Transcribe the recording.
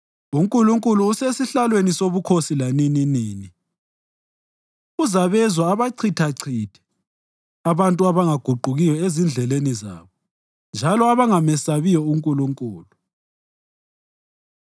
UNkulunkulu osesihlalweni sobukhosi lanininini, uzabezwa abachithachithe abantu abangaguqukiyo ezindleleni zabo njalo abangamesabiyo uNkulunkulu.